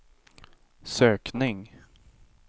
sökning